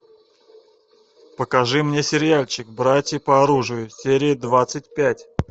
покажи мне сериальчик братья по оружию серия двадцать пять